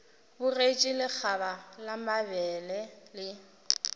bogetše lekgaba la mabele le